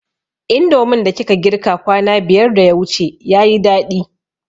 Indomin da kika girka kwana biyar da yawuce yayi daɗi